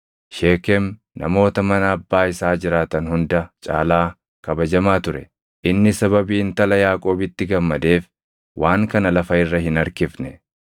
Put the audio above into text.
Sheekem namoota mana abbaa isaa jiraatan hunda caalaa kabajamaa ture; inni sababii intala Yaaqoobitti gammadeef waan kana lafa irra hin harkifne;